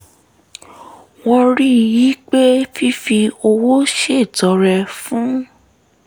wọ́n rí i pé fífi owó ṣètọrẹ fún